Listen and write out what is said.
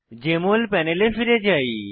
JML প্যানেলে ফিরে যাই